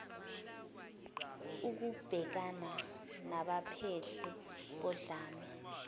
okubhekana nabaphehli bodlame